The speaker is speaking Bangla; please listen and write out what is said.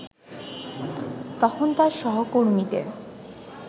তখন তার সহকর্মীদের